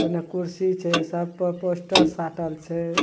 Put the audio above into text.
ओने कुर्सी छै सब पर पोस्टर साटल छै।